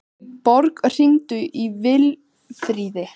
Borg, hringdu í Vilfríði.